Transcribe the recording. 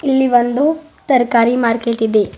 ಇಲ್ಲಿ ಒಂದು ತರ್ಕಾರಿ ಮಾರ್ಕೆಟ್ ಇದೆ.